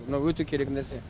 мына өте керек нәрсе